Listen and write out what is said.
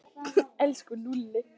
Elsku Lúlli.